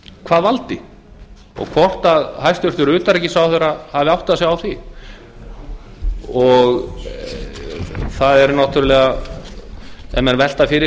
hvað valdi og hvort hæstvirtur utanríkisráðherra hafi áttað sig á því það er náttúrlega ef menn velta því fyrir